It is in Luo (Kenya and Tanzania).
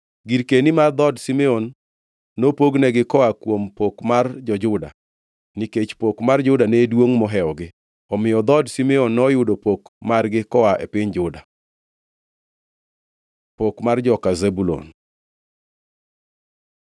Girkeni mar dhood Simeon nopognegi koa kuom pok mar jo-Juda, nikech pok mar Juda ne duongʼ mohewogi. Omiyo dhood Simeon noyudo pok margi koa e piny Juda. Pok mar joka Zebulun